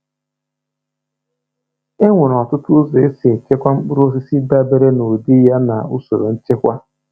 E nwere ọtụtụ ụzọ ụzọ esi echekwa mkpụrụosisi, dabere na ụdị ya na usoro nchekwa.